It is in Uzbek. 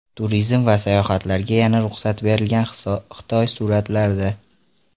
Turizm va sayohatlarga yana ruxsat berilgan Xitoy suratlarda.